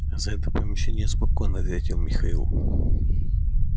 за это помещение я спокоен ответил михаил